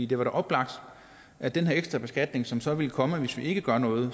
det var da oplagt at den her ekstra beskatning som så ville komme hvis vi ikke gjorde noget